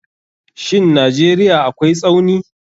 Shin Najeriya akwai Tsauni.